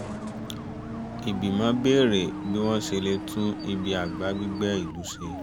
ìgbìmọ̀ béèrè bí wọ́n ṣe lè tún ibi àgbà gbígbẹ̀ ìlú ṣe